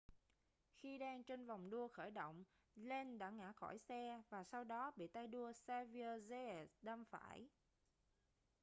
khi đang trên vòng đua khởi động lenz đã ngã khỏi xe và sau đó bị tay đua xavier zayat đâm phải